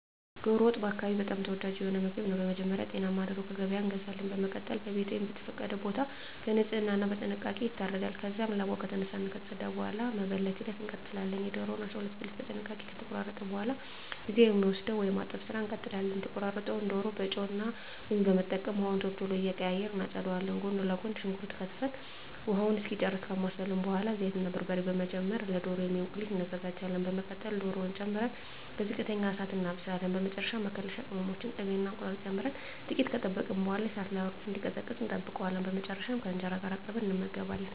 ዶሮ ወጥ በአካባቢየ በጣም ተወዳጅ የሆነ ምግብ ነው። በመጀመሪያ ጤናማ ዶሮ ከገበያ እንገዛለን። በመቀጠል በቤት ወይም በተፈቀደ ቦታ በንጽህና እና በጥንቃቄ ይታረዳል። ከዚያም ላባው ከተነሳ እና ከተፀዳ በኃላ ወደ መበለት ሂደት እንቀጥላለን። የዶሮውን 12 ብልት በጥንቃቄ ከተቆራረጠ በኃላ ጊዜ ወደ ሚወስደው የማጠብ ስራ እንቀጥላለን። የተቆራረጠውን ዶሮ በጨው እና ሎሚ በመጠቀም ውሃውን ቶሎ ቶሎ እየቀያየርን እናፀዳዋለን። ጎን ለጎን ሽንኩርት ከትፈን ውሃውን እስኪጨርስ ካማሰልን በኃላ ዘይት እና በርበሬ በመጨመር ለዶሮ የሚሆን ቁሌት እናዘጋጃለን። በመቀጠል ዶሮውን ጨምረን በዝቅተኛ እሳት እናበስላለን። በመጨረሻ መከለሻ ቅመሞችን፣ ቅቤ እና እንቁላል ጨምረን ጥቂት ከጠበቅን በኃላ ከእሳት ላይ አውርደን እንዲቀዘቅዝ እንጠብቀዋለን። በመጨረሻም ከእንጀራ ጋር አቅርበን እንመገባለን።